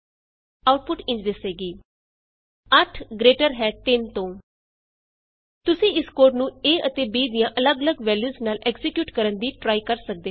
output ਇੰਝ ਦਿਸੇਗੀ160 8 greater ਹੈ 3 ਤੋਂ 8 ਆਈਐਸ ਗ੍ਰੇਟਰ ਥਾਨ 3 ਤੁਸੀਂ ਇਸ ਕੋਡ ਨੂੰ a ਅਤੇ b ਦੀਆਂ ਅੱਲਗ ਅੱਲਗ ਵੈਲਯੂਸ ਨਾਲ ਐਕਜ਼ੀਕਿਯੂਟ ਕਰਨ ਦੀ ਟਰਾਈ ਕਰ ਸਕਦੇ ਹੋ